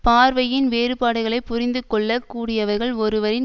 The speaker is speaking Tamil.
பார்வையின் வேறுபாடுகளைப் புரிந்துகொள்ள கூடியவர்கள் ஒருவரின்